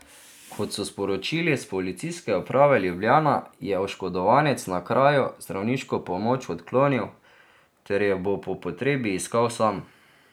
Kot so sporočili s Policijske uprave Ljubljana, je oškodovanec na kraju zdravniško pomoč odklonil ter jo bo po potrebi iskal sam.